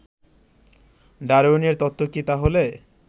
ডারউইনের তত্ত্ব কি তাহলে